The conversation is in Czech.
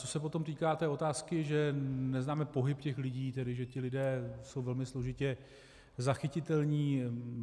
Co se potom týká té otázky, že neznáme pohyb těch lidí, tedy že ti lidé jsou velmi složitě zachytitelní.